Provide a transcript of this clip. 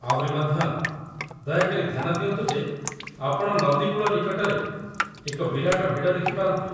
ଆହୁରି ମଧ୍ୟ, ଦୟାକରି ଧ୍ୟାନ ଦିଅନ୍ତୁ ଯେ ଆପଣ ନଦୀ କୂଳ ନିକଟରେ ଏକ ବିରାଟ ଭିଡ଼ ଦେଖିପାରନ୍ତି।